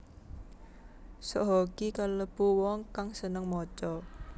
Soe Hok Gie kalêbu wong kang sênêng maca